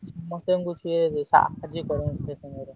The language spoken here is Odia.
ମତେ ବି ସିଏ ସାହାର୍ଯ୍ୟ କରନ୍ତି।